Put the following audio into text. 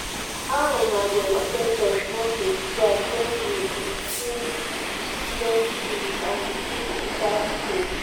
how una go expect us not to strike wen you increase student fees and decrease teachers pay